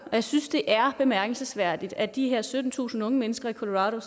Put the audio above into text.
jeg synes det er bemærkelsesværdigt at de her syttentusind unge mennesker i colorado